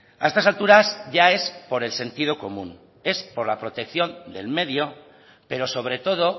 a estas alturas ya es por el sentido común es por la protección del medio pero sobre todo